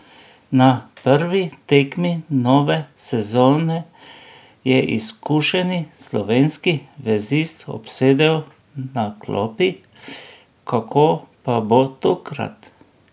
Na prvi tekmi nove sezone je izkušeni slovenski vezist obsedel na klopi, kako pa bo tokrat?